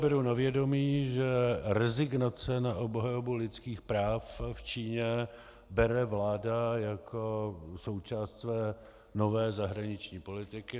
Beru na vědomí, že rezignaci na obhajobu lidských práv v Číně bere vláda jako součást své nové zahraniční politiky.